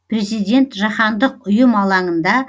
президент жаһандық ұйым алаңында